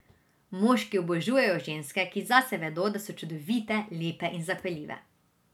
Moški obožujejo ženske, ki zase vedo, da so čudovite, lepe in zapeljive.